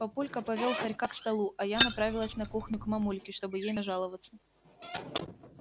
папулька повёл хорька к столу а я направилась на кухню к мамульке чтобы ей нажаловаться